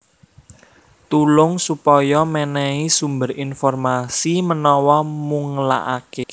Tulung supaya mènèhi sumber informasi menawa mungelaké